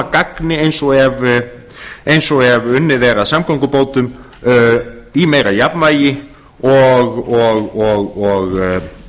gagni eins og ef unnið er að samgöngubótum í meira jafnvægi og